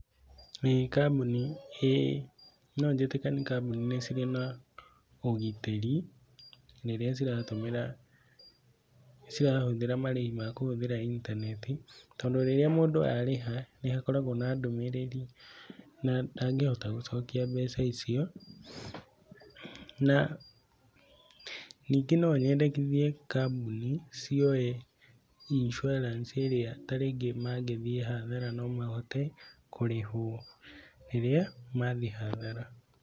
Ĩĩ kambũni, ĩĩ no njĩtĩkanie kambũni nĩ cirĩ na ũgitĩri rĩrĩa ciratũmĩra, cirahũthĩra marĩhi ma kũhũthĩra intaneti tondũ rĩrĩa mũndũ arĩha nĩ hakoragwo na ndũmĩrĩri na ndangĩhota gũcokia mbeca icio na ningĩ nonyendekithie kambuni cioe insurance ĩrĩa ta rĩngĩ mangĩthiĩ hathara no mahote kũrĩhwo rĩrĩa mathiĩ hathara.